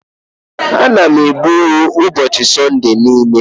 Ana m egbu ewu n'ụbọchị Sunday niile.